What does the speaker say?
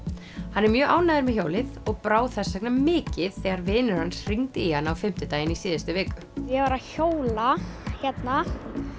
hann er mjög ánægður með hjólið og brá þess vegna mikið þegar vinur hans hringdi í hann á fimmtudaginn í síðustu viku ég var að hjóla hérna